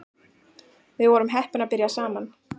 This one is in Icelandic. Við vorum heppin að byrja saman